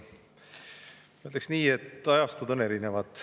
Ma ütleks nii, et ajastud on erinevad.